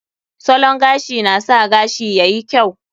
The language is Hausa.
Salon gashi na sa gashi yayi kyau.